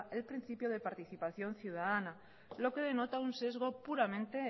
el principio de participación ciudadana lo que denota un sesgo puramente